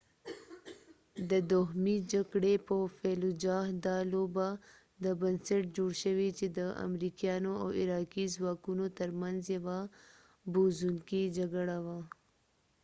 دا لوبه د fallujah د دوهمې جکړې پر بنسټ جوړ شوی چې د امریکایانو او عراقي ځواکونو تر منځ یوه بوږنوونکې جګړه وه